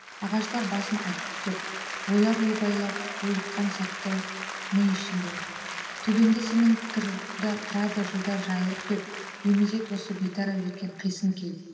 ағаштар басын ай күптеп ойлар ойбайлап булыққан сәтті ми ішінде төбеңде сенің тұрады жылдар жайылып кеп беймезет осы бейтарап жеткен қисын кей